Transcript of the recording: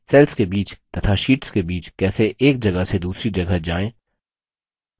cells के बीच तथा शीट्स के बीच कैसे एक जगह से दूसरी जगह जाएँ